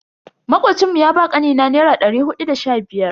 Makocin mu ya ba kanina naira dari hudu da sha biyar.